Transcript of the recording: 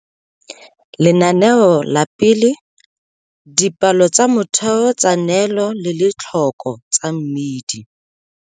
Lenaneo la 1, Dipalo tsa motheo tsa neelo le letlhoko tsa mmidi.